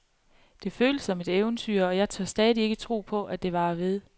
Det føles som et eventyr, og jeg tør stadig ikke tro på, det varer ved.